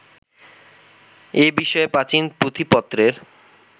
এ-বিষয়ে প্রাচীন পুঁথিপত্রের